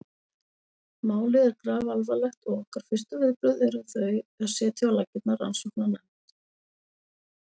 Málið er grafalvarlegt og okkar fyrstu viðbrögð eru þau að setja á laggirnar rannsóknarnefnd.